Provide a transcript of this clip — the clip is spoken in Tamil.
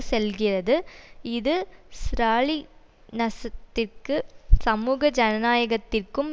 செல்கிறது இது ஸ்ராலினசத்திற்கு சமூக ஜனநாயகத்திற்கும்